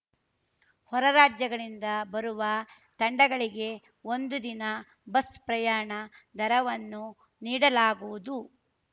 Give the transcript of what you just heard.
ಹೊರ ರಾಜ್ಯಗಳಿಂದ ಬರುವ ತಂಡಗಳಿಗೆ ಒಂದು ದಿನ ಬಸ್‌ ಪ್ರಯಾಣ ದರವನ್ನು ನೀಡಲಾಗುವುದು